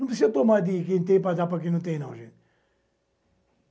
Não precisa tomar de quem tem para dar para quem não tem, não, gente.